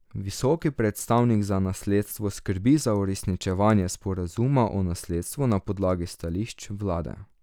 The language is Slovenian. Visoki predstavnik za nasledstvo skrbi za uresničevanje sporazuma o nasledstvu na podlagi stališč vlade.